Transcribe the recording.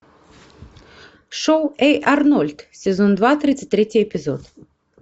шоу эй арнольд сезон два тридцать третий эпизод